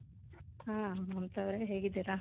ಹಾo ಮಮತಾ ಅವರೇ ಹೇಗಿದ್ದೀರಾ